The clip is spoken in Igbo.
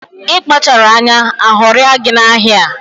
Ị kpacharọ anya, aghọrịa gị na ahịa a